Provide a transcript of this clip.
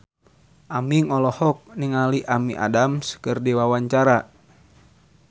Aming olohok ningali Amy Adams keur diwawancara